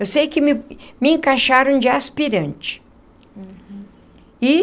Eu sei que me me encaixaram de aspirante e.